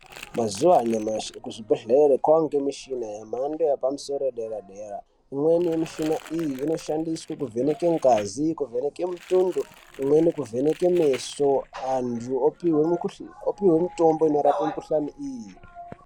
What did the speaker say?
Mazuva anyamashi kuzvibhedhlera kwaangemichini yemhando yepamosoro yedera-dera. Imweni yemichina iyi inoshandiswa kuvheneke ngazi, kuvheneke mutundo, imweni kuvheneke meso. Antu opihwe mitombo inorape mukuhlane iyi.